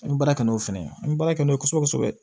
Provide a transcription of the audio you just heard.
An bɛ baara kɛ n'o fɛnɛ ye an bɛ baara kɛ n'o ye kosɛbɛ kosɛbɛ